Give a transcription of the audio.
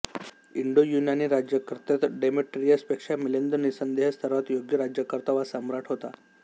इंडोयूनानी राज्यकर्त्यात डेमेट्रियस पेक्षा मिलिंद निसंदेह सर्वात योग्य राज्यकर्ता वा सम्राट होता